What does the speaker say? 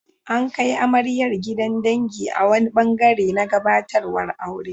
An kai amaryar gidan dangi a wani ɓangare na gabatarwar aure.